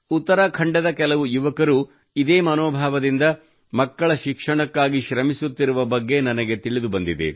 ಉತ್ತರಾಖಂಡದ ಕೆಲವು ಯುವಕರು ಇದೇ ಮನೋಭಾವದಿಂದ ಮಕ್ಕಳ ಶಿಕ್ಷಣಕ್ಕಾಗಿ ಶ್ರಮಿಸುತ್ತಿರುವ ಬಗ್ಗೆ ನನಗೆ ತಿಳಿದು ಬಂದಿದೆ